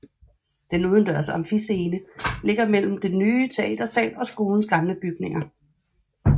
Den udendørs amfiscene ligger mellem den nye teatersal og skolens gamle bygninger